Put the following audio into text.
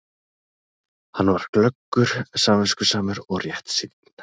Hann var glöggur, samviskusamur og réttsýnn.